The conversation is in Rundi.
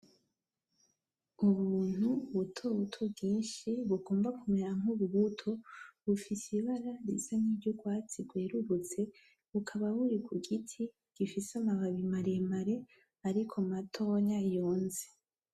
Ubuntu butobuto bwinshi bugomba kumera nk'ububuto bufise ibara risa nkiry'urwatsi rwerurutse bukaba buri ku giti gifise amababi maremare ariko matonya yonze.